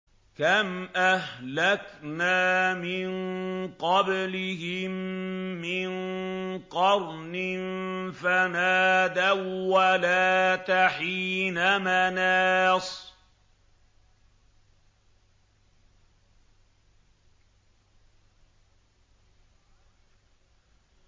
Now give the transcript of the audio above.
كَمْ أَهْلَكْنَا مِن قَبْلِهِم مِّن قَرْنٍ فَنَادَوا وَّلَاتَ حِينَ مَنَاصٍ